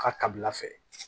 Ka kabila fɛ